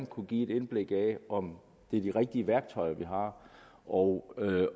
kunne give et indblik i om det er de rigtige værktøjer vi har og